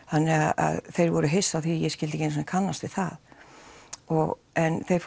þannig þeir voru hissa á því að ég skildi ekki einu sinni kannast við það en þeir